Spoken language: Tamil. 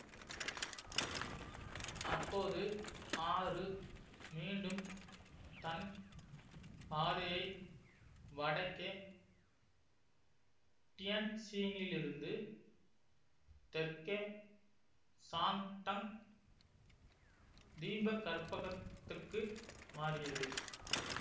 அப்போது ஆறு மீண்டும் தன் பாதையை வடக்கே டியன்ஜினிலிருந்து தெற்கே சாங்டங் தீபகற்பகத்துக்கு மாறியது